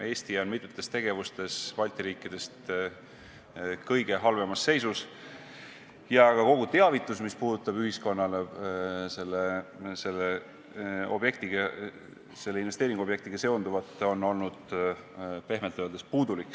Eesti on mitmetes tegevustes Balti riikidest kõige halvemas seisus ja kogu teavitus, mis puudutab ühiskonnale selle investeeringuobjektiga seonduvat, on olnud pehmelt öeldes puudulik.